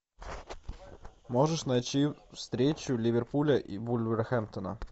можешь найти встречу ливерпуля и вулверхэмптона